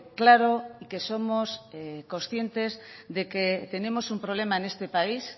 claro y que somos conscientes de que tenemos un problema en este país